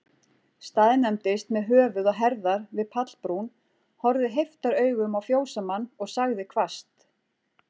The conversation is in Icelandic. Staðnæmdist með höfuð og herðar við pallbrún, horfði heiftaraugum á fjósamann, og sagði hvasst